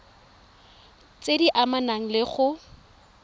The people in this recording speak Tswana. tse di amanang le go